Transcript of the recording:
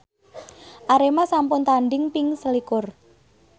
Arema sampun tandhing ping selikur